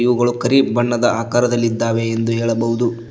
ಅವುಗಳು ಕರಿ ಬಣ್ಣದ ಆಕಾರದಲ್ಲಿ ಇದ್ದಾವೆ ಎಂದು ಹೇಳಬಹುದು.